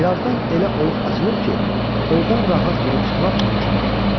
Bir azdan elə oyğuq açılır ki, ordan rahat girib çıxmaq mümkün olsun.